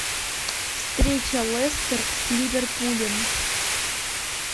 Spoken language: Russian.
встреча лестер с ливерпулем